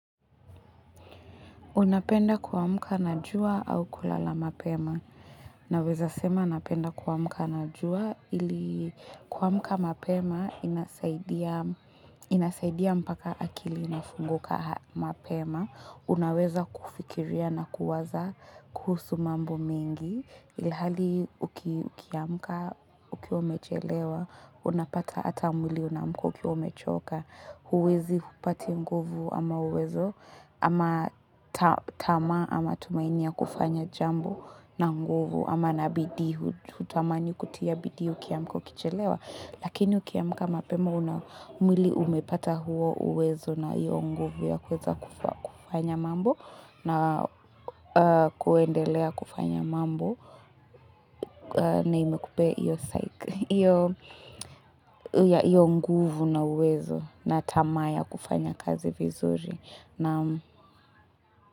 Unapenda kuamka na jua au kulala mapema. Naweza sema napenda kuamka na jua ili kuamka mapema inasaidia mpaka akili inafunguka mapema. Unaweza kufikiria na kuwaza kuhusu mambo mengi. Ilihali ukiamka ukiwa umechelewa unapata ata mwili unaamka ukiwaumechoka huwezi upati nguvu ama uwezo ama tamaa ama tumaini ya kufanya jambo na nguvu ama na bidii hutamani kutia bidii ukiamka ukichelewa lakini ukiamka mapema una mwili umepata huo uwezo na hiyo nguvu ya kuweza kufanya mambo na kuendelea kufanya mambo na imekupea hio psyche hiyo nguvu na uwezo na tamaa ya kufanya kazi vizuri naam.